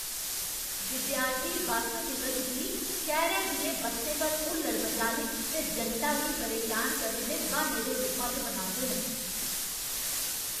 विद्यार्थी बस्स दिवस गी शैह्रै दियें बस्सें पर हुल्लड़ मचाने ते जनता गी परेशान करने दे ब्हान्ने दे रूपा च मनांदे न।